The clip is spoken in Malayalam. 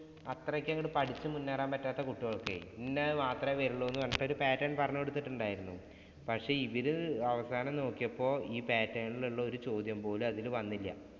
അത്രയ്ക്ക് അങ്ങോട്ട്‌ പഠിച്ചു മുന്നേറാന്‍ പറ്റാത്ത കുട്ടികള്‍ക്ക് ഇന്നത് മാത്രേ വരുവുള്ളൂ എന്ന് പറഞ്ഞിട്ട് ഒരു pattern പറഞ്ഞു കൊടുത്തിട്ടുണ്ടായിരുന്നു. പക്ഷെ, ഇവര് അവസാനം നോക്കിയപ്പോള്‍ ഈ pattern ഇലുള്ള ഒരു ചോദ്യം പോലും അതില് വന്നില്ല.